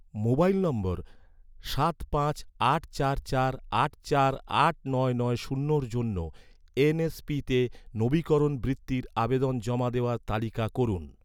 mobile number সাত পাঁচ আট চার চার আট চার আট নয় নয় শূন্যের জন্য এন.এস.পিতে, নবীকরণ বৃত্তির আবেদন জমা দেওয়ার তালিকা করুন